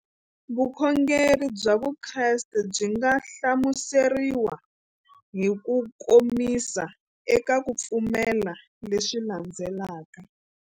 Vukhongeri bya Vukreste byi nga hlamuseriwa hi kukomisa eka ku pfumela leswi landzelaka.